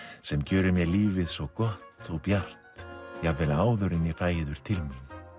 sem gjörir mér lífið svo gott og bjart jafnvel áður en ég fæ yður til mín